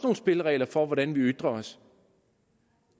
spilleregler for hvordan vi ytrer os